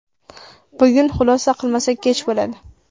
Bugun xulosa qilmasak kech bo‘ladi.